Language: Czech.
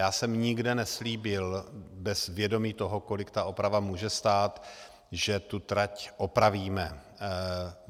Já jsem nikde neslíbil bez vědomí toho, kolik ta oprava může stát, že tu trať opravíme.